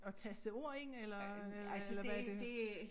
At taste ord ind eller eller hvad er det